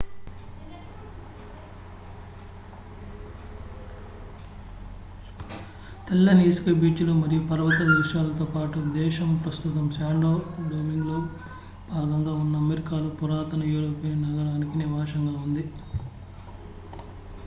తెల్లని ఇసుక బీచ్ లు మరియు పర్వత దృశ్యాలతో పాటు దేశం ప్రస్తుతం శాన్టో డొమింగోలో భాగంగా ఉన్న అమెరికాలో పురాతన యూరోపియన్ నగరానికి నివాసంగా ఉంది